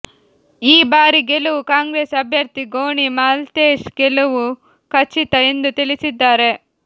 ಈ ಬಾರಿ ಗೆಲುವು ಕಾಂಗ್ರೆಸ್ ಅಭ್ಯರ್ಥಿ ಗೋಣಿ ಮಾಲ್ತೇಶ್ ಗೆಲವು ಖಚಿತ ಎಂದು ತಿಳಿಸಿದ್ದಾರೆ